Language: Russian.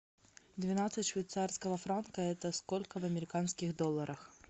двенадцать швейцарского франка это сколько в американских долларах